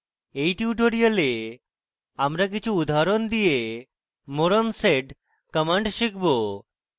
in tutorial আমরা কিছু উদাহরণ দিয়ে কিছু more on sed commands শিখব